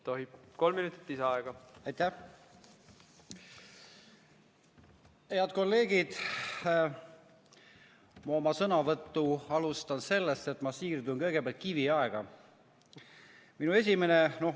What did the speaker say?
Ma alustan oma sõnavõttu sellest, et siirdun kõigepealt kiviaega.